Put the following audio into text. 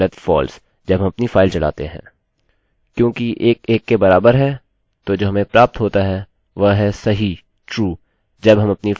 क्योंकि 1 1 के बराबर है तो जो हमें प्राप्त होता है वह है सही true जब हम अपनी फाइल चलाते हैं